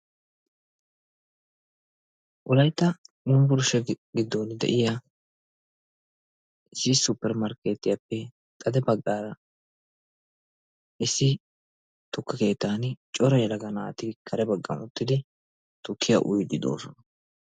Wolayttan Yunbburshshe giddon de'iya supper markkeetiyappe xade baggaara issi tukke keettaan Cora yelaga naati kare baggaara uttidi tukkiya uyiidi de'oosona.